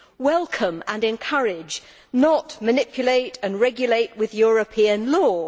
Welcome and encourage, not manipulate and regulate with European law.